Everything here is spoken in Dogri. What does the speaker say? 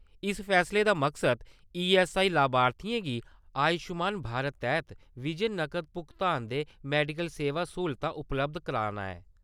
इस फैसले दा मकसद ईएसआईसी लाभार्थियें गी आयुष्मान भारत तैह्त बिजन नकद भुगतान दे मैडिकल सेवा स्हूलतां उपलब्ध कराना ऐ।